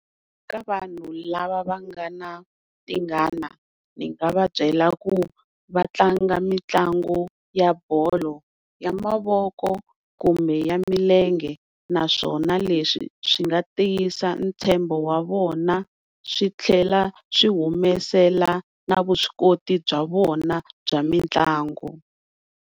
Eka vanhu lava va nga na tingana ni nga va byela ku va tlanga mitlangu ya bolo ya mavoko kumbe ya milenge naswona leswi swi nga tiyisa ntshembo wa vona swi tlhela swi humesela na vuswikoti bya vona bya mitlangu.